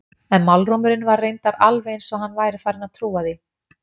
En málrómurinn var reyndar alveg eins og hann væri farinn að trúa því.